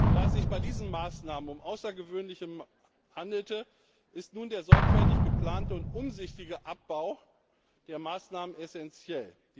Da es sich bei diesen Maßnahmen um außergewöhnliche Schritte handelte, ist nun der sorgfältig geplante und umsichtige Abbau der Maßnahmen essentiell.